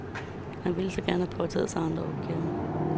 Han ville gerne have påtaget sig andre opgaver.